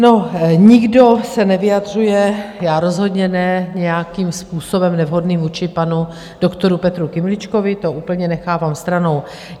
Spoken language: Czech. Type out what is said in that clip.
No, nikdo se nevyjadřuje, já rozhodně ne, nějakým způsobem nevhodným vůči panu doktoru Petru Kymličkovi, to úplně nechávám stranou.